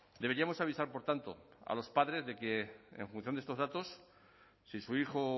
deberíamos avisar por tanto a los padres de que en función de estos datos si su hijo